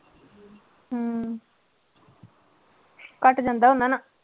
ਹਮ ਘੱਟ ਜਾਂਦਾ ਉਹਦੇ ਨਾਲ।